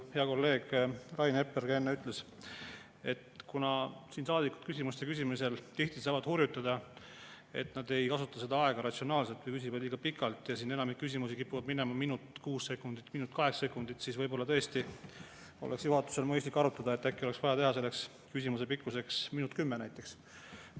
Hea kolleeg Rain Epler enne ütles, et kuna siin saadikud küsimuste küsimisel tihti saavad hurjutada, et nad ei kasuta seda aega ratsionaalselt või küsivad liiga pikalt, enamik küsimusi kipub olema minut ja kuus sekundit või minut ja kaheksa sekundit, siis võib-olla tõesti oleks juhatusel mõistlik arutada, et äkki oleks vaja teha selleks küsimuse pikkuseks minut ja kümme näiteks.